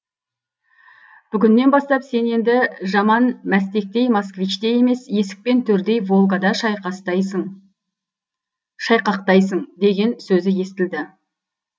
бүгіннен бастап сен енді жаман мәстектей москвичте емес есік пен төрдей волгада шайқақтайсың деген сөзі естілді